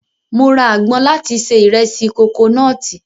Mo ra agbọn láti se ìrẹsì kokonọ́ọ̀tì.